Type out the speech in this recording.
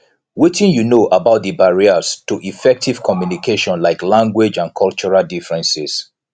wetin you know about di barriers to effective communication like language and cultural differences